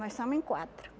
Nós somos em quatro.